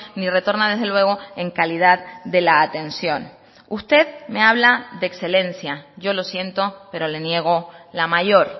ni retorna desde luego en calidad de la atención usted me habla de excelencia yo lo siento pero le niego la mayor